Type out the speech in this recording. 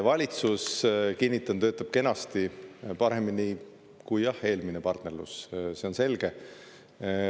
Valitsus, kinnitan, töötab kenasti, paremini, kui, jah, eelmine partnerlus, see on selge.